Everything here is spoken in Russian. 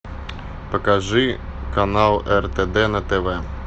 покажи канал ртд на тв